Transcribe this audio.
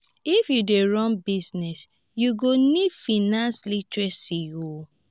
if you dey run business you go need financial literacy. um